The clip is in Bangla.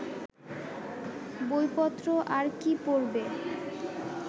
বইপত্র আর কি পড়বে